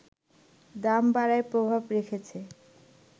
দাম বাড়ায় প্রভাব রেখেছে